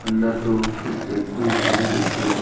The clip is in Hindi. अंदर दो कुछ व्यक्ति हैं व्यक्ति आए--